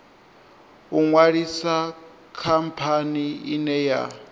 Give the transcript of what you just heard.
u ṅwalisa khamphani ine ya